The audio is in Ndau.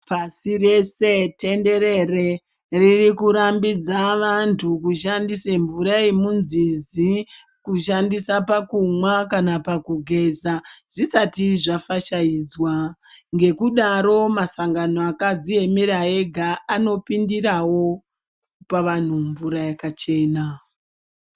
Pasi rese tenderere ririkurambidza vantu kushandise mvura yemunzizi kushandisa pakumwa kana pakugeza zvisati zvafashaidzwa. Ngekudaro masangano akadziemerera ega anopindirawo kupa vanhu mvura yakachena.